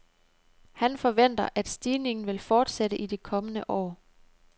Han forventer, at stigningen vil fortsætte i de kommende år.